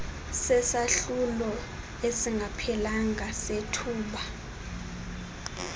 sesahlulo esingaphelanga sethuba